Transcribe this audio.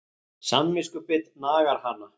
Samviskubit nagar hana.